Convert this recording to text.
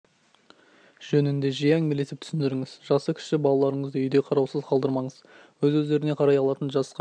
жөнінде жиі әңгімелесіп түсіндіріңіз жасы кіші балаларыңызды үйде қараусыз қалдырмаңыз өз өздеріне қарай алатын жасқа